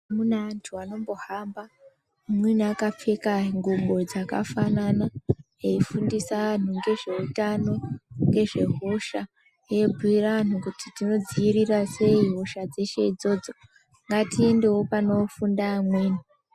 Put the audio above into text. Mune antu anombohamba amweni akapfeka ngubo dzakafanana eifundisa antu ngezveutano ,ngezvehosha eyibhuyira antu kuti tinodziirirasei hosha dzeshe idzodzo ngatiendewo panofunda amweni.